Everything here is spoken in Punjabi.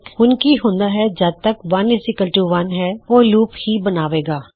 ਹੁਣ ਕੀ ਹੁੰਦਾ ਹੈ ਜੱਦ ਤੱਕ ਤਾਂ 11 ਹੈ ਉਹ ਲੂਪ ਹੀ ਬਣਾਏਗਾ